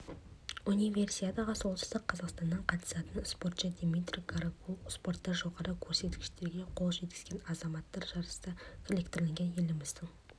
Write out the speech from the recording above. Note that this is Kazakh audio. универсиадаға солтүстік қазақстаннан қатысатын спортшы дмитрий гарагуль спортта жоғары көрсеткіштерге қол жеткізген азамат жарыста крлингтен еліміздің